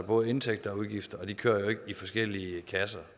er både indtægter og udgifter og de kører ikke i forskellige kasser